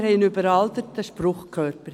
Wir haben einen überalterten Spruchkörper.